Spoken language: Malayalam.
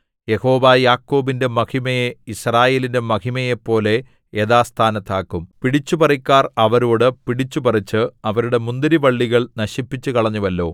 യഹോവ യാക്കോബിന്റെ മഹിമയെ യിസ്രായേലിന്റെ മഹിമയെപ്പോലെ യഥാസ്ഥാനത്താക്കും പിടിച്ചുപറിക്കാർ അവരോട് പിടിച്ചുപറിച്ച് അവരുടെ മുന്തിരിവള്ളികൾ നശിപ്പിച്ചുകളഞ്ഞുവല്ലോ